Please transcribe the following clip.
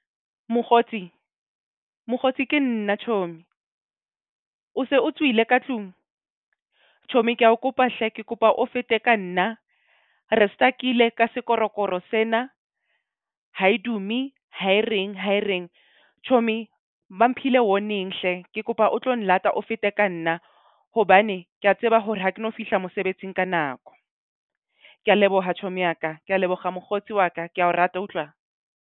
Mokgotsi ke nna chomi, o se o tswile ka tlung? Chomi ke a o kopa hle ke kopa o fete ka nna. Re stuck-ile ka sekorokoro sena, ha e dume, ha e reng ha e reng. Chomi ba mphile warning hle. Ke kopa o tlo nlata o fete ka nna hobane ke a tseba hore ha ke no fihla mosebetsing ka nako. Ke a leboha chomi ya ka. Ke a leboga mokgotsi wa ka. Ke a o rata wa utlwa?